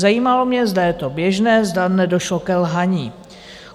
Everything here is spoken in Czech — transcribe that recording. Zajímalo mě, zda je to běžné, zda nedošlo ke lhaní.